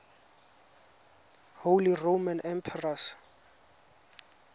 holy roman emperors